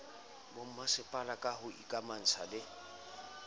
bomasepala ka ho ikamahantsha le